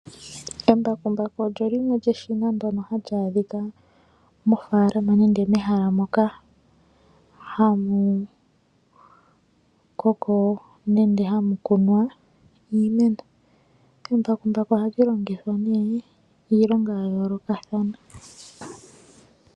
Embakumbaku olyo eshina ndjoka hali adhika mofaalama nenge mehala ndoka hamu koko nenga haamu mene iimeno embakumbaku ohali longithwa nee iilonga ya yoolokathana .